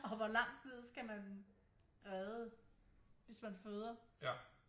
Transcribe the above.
Og hvor langt ned skal man redde hvis man føder